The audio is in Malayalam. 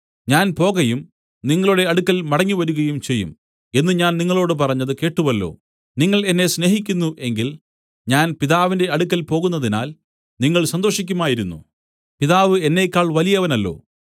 ഞാൻ പോകയും നിങ്ങളുടെ അടുക്കൽ മടങ്ങിവരികയും ചെയ്യും എന്നു ഞാൻ നിങ്ങളോടു പറഞ്ഞത് കേട്ടുവല്ലോ നിങ്ങൾ എന്നെ സ്നേഹിക്കുന്നു എങ്കിൽ ഞാൻ പിതാവിന്റെ അടുക്കൽ പോകുന്നതിനാൽ നിങ്ങൾ സന്തോഷിക്കുമായിരുന്നു പിതാവ് എന്നേക്കാൾ വലിയവനല്ലോ